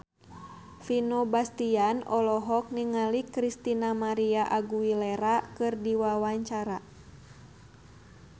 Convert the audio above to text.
Vino Bastian olohok ningali Christina María Aguilera keur diwawancara